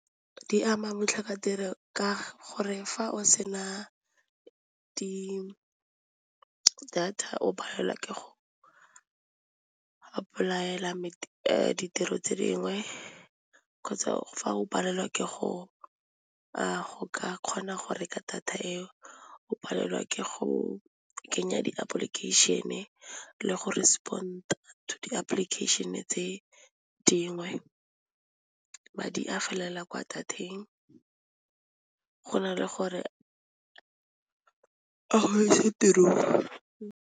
Di ama botlhokatiro ka gore fa o se na di data o palelwa ke go apolaela ditiro tse dingwe kgotsa fa o palelwa ke go go ka kgona go reka data eo o palelwa ke go kenya di-application-e le go resepond to di-application-e tse dingwe, madi a felela kwa go na le gore a go ise tirong.